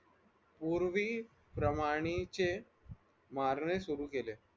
पूर्वी प्रमाणाचे मारणे सुरु केले.